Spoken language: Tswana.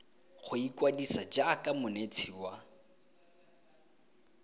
go ikwadisa jaaka monetshi wa